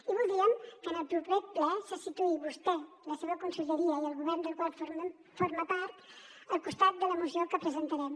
i voldríem que en el proper ple se situï vostè la seva conselleria i el govern del qual forma part al costat de la moció que presentarem